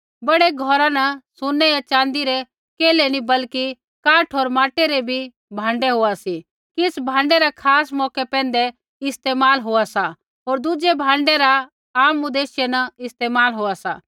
बड़ै घौरा न सुनै होर च़ाँदी रै केल्है नी बल्कि काठ होर माटै रै बी भाँडै होआ सी किछ़ भाँडै रा खास मौके पैंधै इस्तेमाल होआ सा होर दुज़ै भाँडै रा आम उदेश्य न इस्तेमाल होआ सा